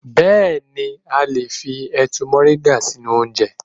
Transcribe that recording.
6. Bẹẹni a lè fi ẹ̀tu moringa sínú oúnjẹ.